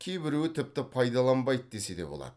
кейбіреуі тіпті пайдаланбайды десе де болады